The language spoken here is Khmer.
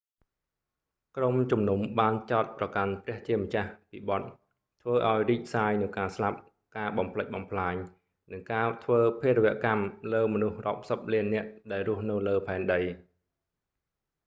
ក្រុមជំនុំបានចោទប្រកាន់ព្រះជាម្ចាស់ពីបទ ធ្វើឲ្យរីកសាយនូវការស្លាប់ ការបំផ្លិចបំផ្លាញ និងការធ្វើភារវកម្មលើមនុស្សរាប់សិបលាននាក់ដែលរស់នៅលើផែនដី